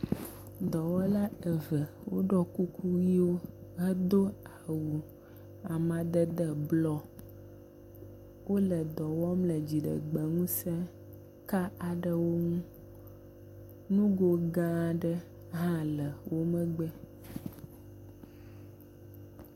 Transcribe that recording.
Dɔwɔla eve woɖɔ kuku yiwo hedo awu amadede blɔ hele wole dɔ wɔm le dziɖegbeŋusẽ ka aɖe ŋu. nugo gã aɖe hã le wo megbee.